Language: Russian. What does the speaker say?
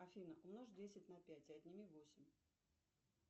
афина умножь десять на пять и отними восемь